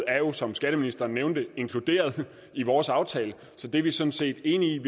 er jo som skatteministeren nævnte inkluderet i vores aftale så det er vi sådan set enige